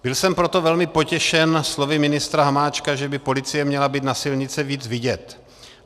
Byl jsem proto velmi potěšen slovy ministra Hamáčka, že by policie měla být na silnici víc vidět.